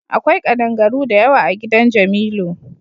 Akwai kaɗangaru da yawa a gidan jamilu.